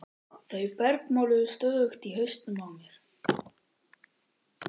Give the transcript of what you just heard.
Þau bergmáluðu stöðugt í hausnum á mér.